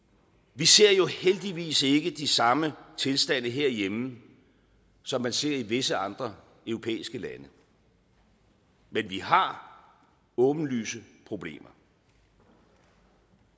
vi ser jo heldigvis ikke de samme tilstande herhjemme som man ser i visse andre europæiske lande men vi har åbenlyse problemer